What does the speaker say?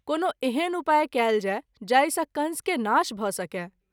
कोनो एहन उपाय कएल जाय जाहि सँ कंस के नाश भ’ सकय।